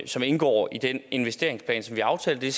som indgår i den investeringsplan som vi aftalte